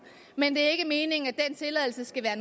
men det er ikke meningen at den tilladelse skal være